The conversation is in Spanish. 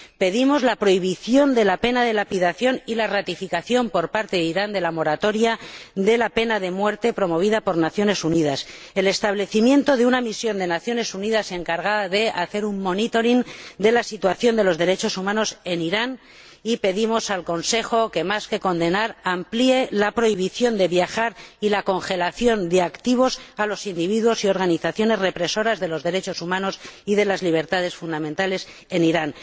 Pedimos la prohibición de la pena de lapidación y la ratificación por parte de Irán de la moratoria de la pena de muerte promovida por Naciones Unidas, así como el establecimiento de una misión de Naciones Unidas encargada de hacer un seguimiento de la situación de los derechos humanos en Irán, y pedimos al Consejo que, más que condenar, amplíe la prohibición de viajar y la congelación de activos a los individuos y organizaciones que reprimen los derechos humanos y las libertades fundamentales en Irán.